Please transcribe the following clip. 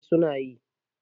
eh suna yi